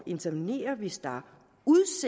intervenere hvis der